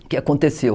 O que aconteceu.